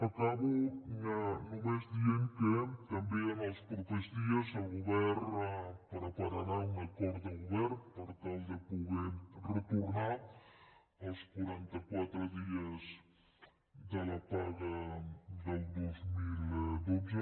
acabo només dient que també en els propers dies el govern prepararà un acord de govern per tal de poder retornar els quaranta quatre dies de la paga del dos mil dotze